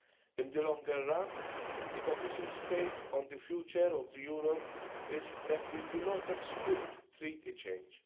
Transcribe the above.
In the longer run, the Commission's take on the future of Europe is that we do not exclude treaty change.